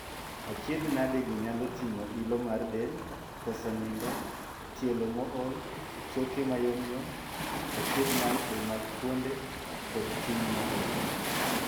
Achiedhnadegi nyalo ting'o ilo mar del, koso nindo, tielo mool, choke mayomyom, achiedhnade mag fuonde, kod chuny mool.